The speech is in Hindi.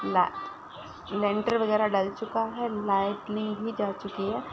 ल लेंटर वगेरा डल चुका है लाइट ली भी जा चुकी है।